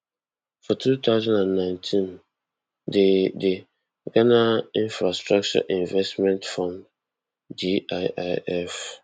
for two thousand and nineteen di di ghana infrastructure investment fund giif